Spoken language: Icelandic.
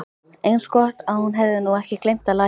Eins gott að hún hefði nú ekki gleymt að læsa.